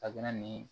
A bɛna ni